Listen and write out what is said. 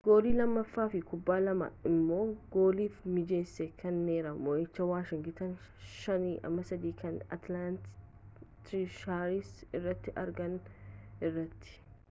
goolii 2 fi kubbaa lamaa immo gooliif mijeesse kennera mo'icha washingitan 5-3 kan atilaanta tiresharsii irratti argatan irratti